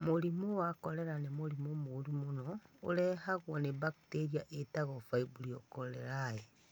Mũrimũ wa korera nĩ mũrimũ mũũru mũno ũrehagwo nĩ bakteria ĩtagwo Vibrio cholerae.